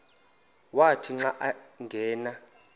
wathi xa angena